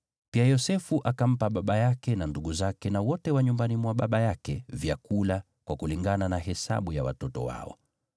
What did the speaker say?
Pia Yosefu akampa baba yake, na ndugu zake na wote wa nyumbani mwa baba yake vyakula, kwa kulingana na hesabu ya watoto wao.